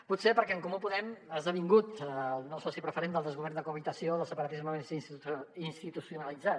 potser perquè en comú podem ha esdevingut el nou soci preferent del desgovern de cohabitació del separatisme institucionalitzat